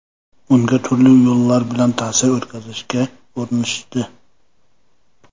Unga turli yo‘llar bilan ta’sir o‘tkazishga urinishdi.